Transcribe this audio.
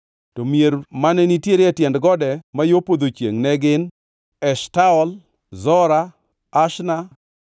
To mier mane nitiere e tiend gode ma yo podho chiengʼ ne gin: Eshtaol, Zora, Ashna,